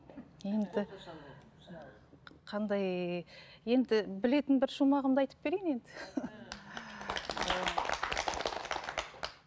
енді қандай енді білетін бір шумағымды айтып берейін енді